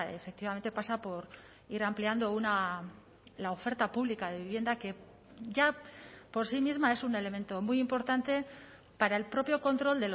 efectivamente pasa por ir ampliando la oferta pública de vivienda que ya por sí misma es un elemento muy importante para el propio control